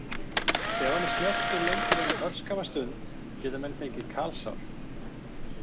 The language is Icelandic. Ef hann er snertur lengur en örskamma stund geta menn fengið kalsár.